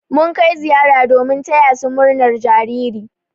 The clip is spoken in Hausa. Mun kai ziyara domin taya su murnar jariri.